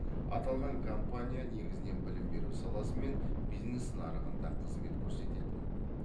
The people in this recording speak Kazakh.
аталған компания негізінен білім беру саласы мен бизнес нарығында қызмет көрсететін